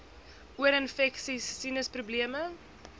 oorinfeksies sinus probleme